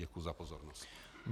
Děkuji za pozornost.